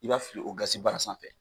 I b'a fili o gazibara sanfɛ.